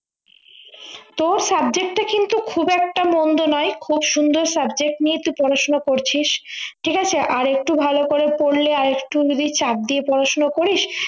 তোর subject টা কিন্তু খুব একটা মন্দ নয় খুব সুন্দর subject নিয়ে তুই পড়াশোনা করছিস ঠিক আছে আরেকটু ভালো করে পড়লে আর একটু যদি চাপ দিয়ে পড়াশোনা করিস